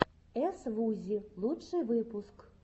эс вузи лучший выпуск